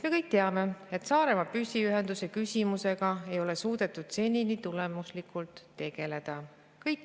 Me kõik teame, et Saaremaa püsiühenduse küsimusega ei ole suudetud senini tulemuslikult tegeleda.